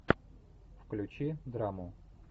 включи драму